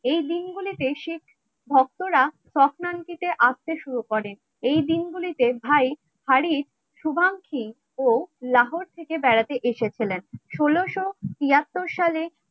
এই দিনগুলিতে শিখ ভক্তরা হক্রান্তিতে আসতে শুরু করেন. এই দিনগুলিতে ভাই শুভাংশু ও লাহোর থেকে বেড়াতে এসেছিলেন ষোলশো তিয়াত্তর সালে